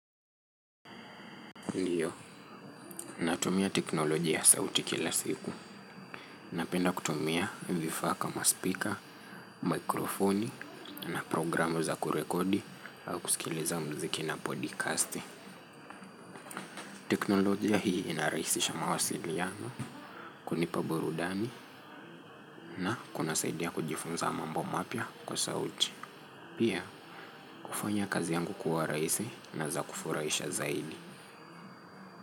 Ndiyo, natumia teknolojia ya sauti kila siku. Napenda kutumia vifaa kama speaker, mikrofoni, na programu za kurekodi au kusikiliza mziki na podcast. Teknolojia hii inaraisisha mawasiliano, kunipa burudani, na kunasaidia kujifunza mambo mapya kwa sauti. Pia, kufanya kazi yangu kuwa raisi na za kufuraisha zaidi.